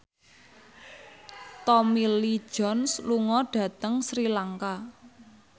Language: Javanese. Tommy Lee Jones lunga dhateng Sri Lanka